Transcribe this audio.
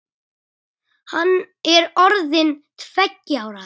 Hann er orðinn tveggja ára.